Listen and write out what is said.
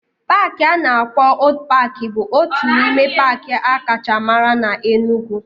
Paaki a na-akpọ Old paaki bụ otu n'ime paaki akacha mara na Enugwu